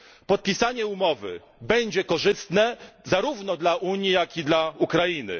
Podpisanie umowy będzie korzystne zarówno dla Unii, jak i dla Ukrainy.